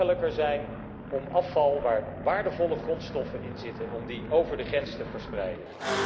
Het moet makkelijker zijn om afval waar waardevolle grondstoffen in zitten, over de grens te verspreiden.